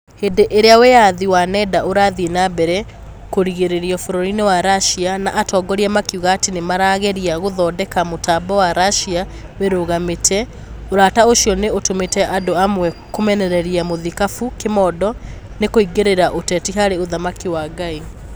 Hĩndĩ ĩrĩa wĩyathi wa nenda ũrathiĩ na mbere kũgirĩrĩrio bũrũri-inĩ wa Russia - na atongoria makiuga atĩ nĩmarageria gũthondeka mutambo wa Russia wĩrũgamĩtie - ũrata ũcio nĩ ũtũmĩte andũ amwe kũmenereria mũthikabu Kĩmondo nĩ kũingĩria ũteti harĩ ũthamaki wa Ngai.